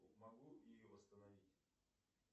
могу ее восстановить